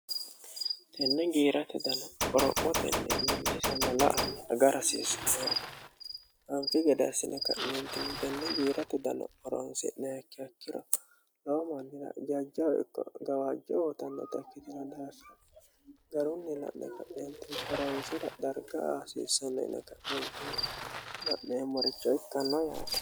tenne giiratu dano qorophotenni millisanna la"a agara hasiissanno yaate anfi gede assine ka'neentinni tenne giirate dano horonse'niha ikkiha ikkiro lowo maannira jajja ikko gawaajjo abbitannota ikkitila daassine garunni la'ne ka'neentinni horonsira darga aasiissano uyine ka'neentii la'meemmoricho ikkanno yaate